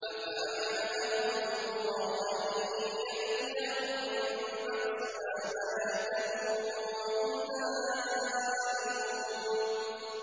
أَفَأَمِنَ أَهْلُ الْقُرَىٰ أَن يَأْتِيَهُم بَأْسُنَا بَيَاتًا وَهُمْ نَائِمُونَ